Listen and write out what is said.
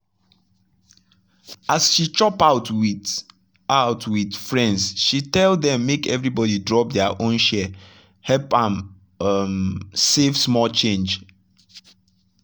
as she chop out with out with friends she tell dem make everybody drop their own share — help am um save small change.